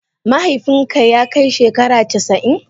Mahaifin ki ya kai shekara casa'in?